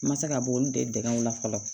N ma se ka bɔ olu de dɛmɛ u la fɔlɔ